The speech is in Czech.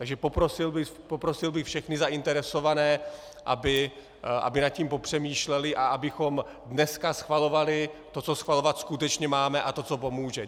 Takže poprosil bych všechny zainteresované, aby nad tím popřemýšleli a abychom dneska schvalovali to, co schvalovat skutečně máme, a to, co pomůže.